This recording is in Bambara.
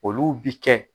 Olu bi kɛ